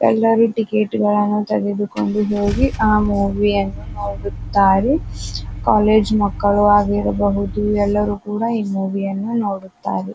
ಎಲ್ಲ ರಿತಿಯ ಟಿಕೆಟ್ ಳನ್ನು ತೆಗೆದುಕೊಂಡು ಹೋಗಿ ಆ ಮೂವಿ ಯನ್ನು ನೋಡುತ್ತಾರೆ. ಕಾಲೇಜು ಮಕ್ಕಳು ಆಗಿರಬಹುದು ಎಲ್ಲರೂ ಕೂಡ ಈ ಮೂವಿ ಯನ್ನು ನೋಡುತ್ತಾರೆ.